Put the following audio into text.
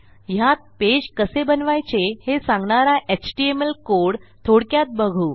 ह्यात पेज कसे बनवायचे हे सांगणारा एचटीएमएल कोड थोडक्यात बघू